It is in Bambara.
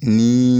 Ni